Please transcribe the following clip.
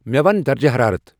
مے ون درجہٕ حرارت ۔